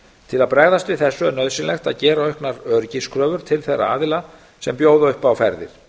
til að bregðast við þessu er nauðsynlegt að gera auknar öryggiskröfur til þeirra aðila sem bjóða upp á ferðir